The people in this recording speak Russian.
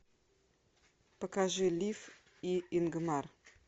покажи лив и ингмар